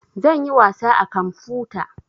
Zan yi wasa a kamfuta